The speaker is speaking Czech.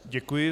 Děkuji.